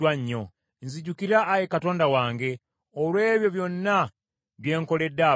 Nzijukira Ayi Katonda wange, olw’ebyo byonna bye nkoledde abantu bano.